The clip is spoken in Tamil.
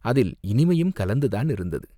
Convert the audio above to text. அதில் இனிமையும் கலந்து தானிருந்தது!